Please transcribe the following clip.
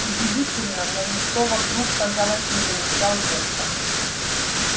удивительно но никто вокруг казалось не замечал ветра